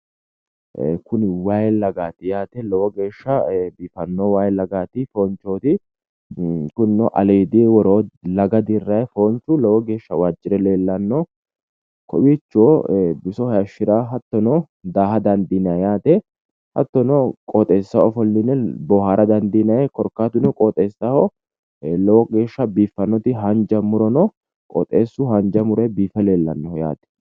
Kuni wayi lagaati yaate lowo geesha biifanno wayi lagaati wayi foonchooti kuni aliidinni woroo laga dirranni lowo geesha waajjire leellannoho kowiicho biso hayishira woyi daaha dandiinanni hattono qoxeessaho ofolline boohaara dandiinanni hattono korkaatuno qoxeessaho lowo geesha biiffannoti haanja muro no qoxeessu haanja muronni biife leellannoho yaate